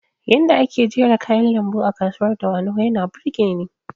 Yanda ake jera kayan lambu a kasuwar dawanau yana burgeni